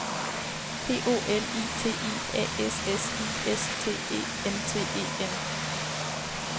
P O L I T I A S S I S T E N T E N